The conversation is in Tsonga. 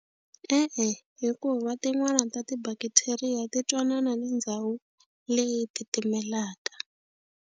E-e, hikuva tin'wani ta ti-bacteria ti twanana ni ndhawu leyi titimelaka.